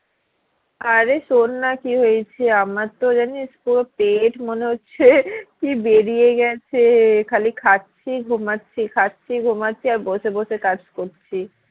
আরে তোর না কি হয়েছে আমারতো জানিস তোর পেট মনে হচ্ছে কি বেরিয়ে গেছে খালি খাচ্ছি ঘুমাচ্ছি খাচ্ছি ঘুমাচ্ছি আর বসে বসে কাজ করছি